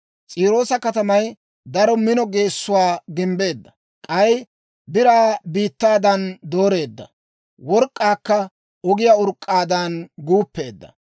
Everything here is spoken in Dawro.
S'iiroosa katamay daro mino geessuwaa gimbbeedda. K'ay biraa biittaadan dooreedda; work'k'aakka ogiyaa urk'k'aadan guuppeedda.